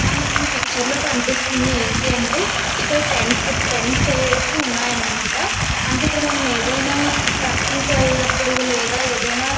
మనకి ఈ పిక్చర్ లో కనిపిస్తుంది ఏంటి అంటే ఇక్కడ టెంట్స్ వేసి ఉన్నాయి అనమాట మనం ఏదైనా ట్రెకింగ్ కి వెళ్ళినపుడు లేదా ఏదైనా --